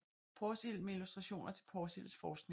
Porsild med illustrationer til Porsilds forskning